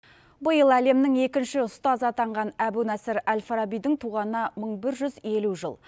биыл әлемнің екінші ұстазы атанған әбу насыр әл фарабидің туғанына мың бір жүз елу жыл